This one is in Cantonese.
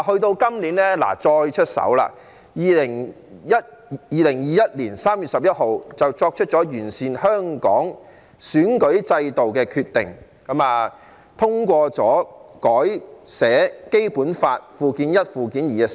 到今年再次出手 ，2021 年3月11日作出了完善香港選舉制度的決定，通過了新修訂的《基本法》附件一及附件二。